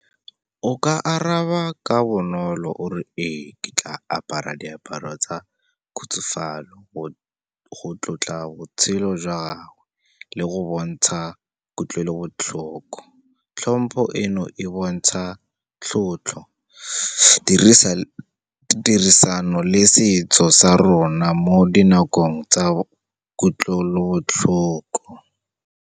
O ka araba ka bonolo o re ee ke tla apara diaparo tsa khutsafalo, go tlotla botshelo jwa gagwe le go bontsha kutlwelobotlhoko. Hlompho eno, e bontsha tlotlo, tirisano le setso sa rona mo dinakong tsa kutlwelobotlhoko.